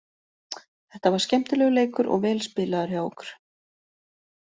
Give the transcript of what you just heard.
Þetta var skemmtilegur leikur og vel spilaður hjá okkur.